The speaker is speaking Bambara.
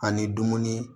Ani dumuni